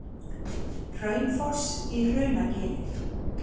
Hraunfoss í Hrunagili.